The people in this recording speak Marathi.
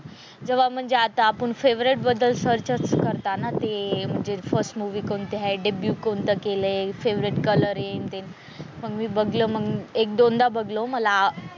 जेव्हा म्हणजे आता आपण फेव्हरेट बद्दल सर्च असं करता ना ते फर्स्ट मूवी कोणती आहे कोणतं केलंय फेव्हरेट कलर आहे न ते मग मी बघलं मग एक दोनदा बघालो मला,